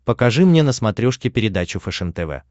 покажи мне на смотрешке передачу фэшен тв